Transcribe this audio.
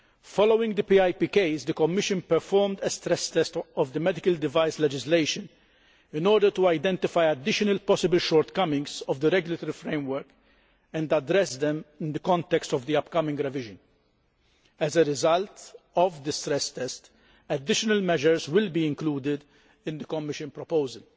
Following the PIP case, the Commission performed a stress test' of the medical device legislation in order to identify additional possible shortcomings of the regulatory framework and address them in the context of the upcoming revision. As a result of the stress test, additional measures will be included in the Commission proposal.